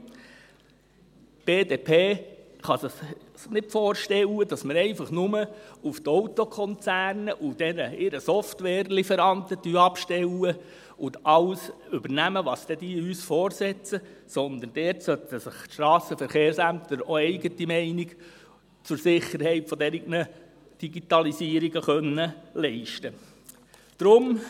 Die BDP kann es sich nicht vorstellen, dass wir einfach nur auf die Autokonzerne und deren Software-Lieferanten abstellen und alles übernehmen, was diese uns vorsetzen, sondern dort sollten sich die Strassenverkehrsämter auch eine eigene Meinung zur Sicherheit solcher Digitalisierungen leisten können.